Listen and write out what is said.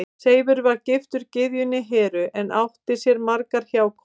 Seifur var giftur gyðjunni Heru en átti sér margar hjákonur.